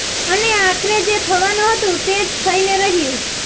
અને આખરે જે થવાનું હતું તે જ થઈને રહ્યું